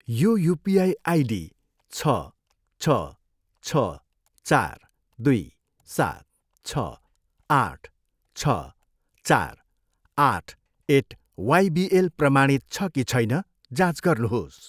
यो UPI ID छ, छ, छ, चार, दुई, सात, छ, आठ, छ, चार, आठ एट वाइबिएल प्रमाणित छ कि छैन? जाँच गर्नुहोस्।